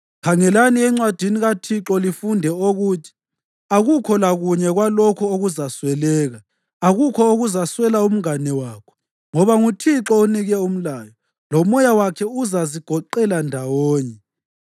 Khangelani encwadini kaThixo lifunde okuthi: Akukho lakunye kwalokhu okuzasweleka; akukho okuzaswela umngane wakho. Ngoba nguThixo onike umlayo, loMoya wakhe uzazigoqela ndawonye.